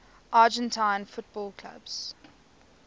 argentine football clubs